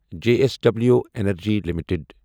J S W energy limited